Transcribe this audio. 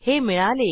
हे मिळाले